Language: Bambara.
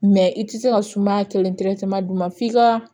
Mɛ i tɛ se ka sumaya kelen d'u ma f'i ka